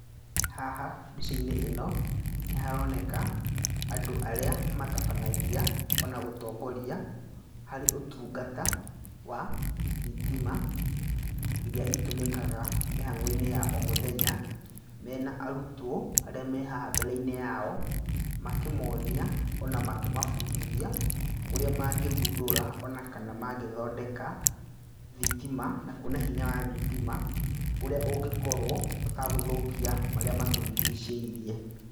Haha mbica-inĩ ĩno, nĩ haroneka andũ arĩa matabanagia ona gũtongoria harĩ ũtungata wa thitima iria itũmĩkaga mĩhang'o-inĩ ya o mũthenya, mena arutwo arĩa me haha mbere-inĩ yao, makĩmonia ona makĩmabundithia ũrĩa mangĩthundũra ona kana mangĩthondeka thitima na kuona hinya wa thitima, ũrĩa ũngĩkorwo ũtagũthũkia marĩa matũrigicĩirie.